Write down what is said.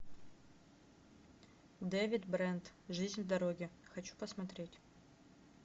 дэвид брент жизнь в дороге хочу посмотреть